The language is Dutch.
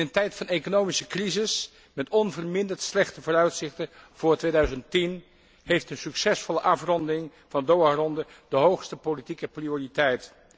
In een tijd van economische crisis met onverminderd slechte vooruitzichten voor 2010 heeft een succesvolle afronding van de DOHA ronde de hoogste politieke prioriteit.